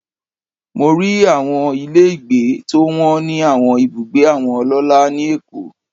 Mo rí àwọn ilé gbé tó wọ́n ní àwọn ibùgbé àwọn ọlọ́lá ni Èkó.